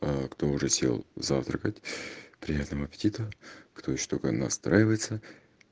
э кто уже сел завтракать приятного аппетита кто ещё только настраивается